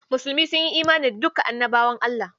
Musulmi sun yi imani da duka Annabawa Allah.